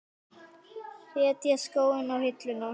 Setja skóna á hilluna?